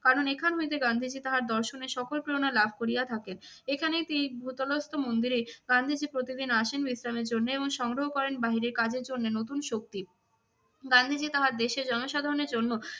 কারণ এখান হইতে গান্ধীজী তাহার দর্শনের সকল প্রেরণা লাভ করিয়া থাকেন। এখানেই তিনি ভূতলস্থ্য মন্দিরেই গান্ধীজী প্রতিদিন আসেন বিশ্রামের জন্য এবং সংগ্রহ করেন বাহিরের কাজের জন্য নতুন শক্তি। গান্ধীজী তাহার দেশের জনসাধারণের জন্য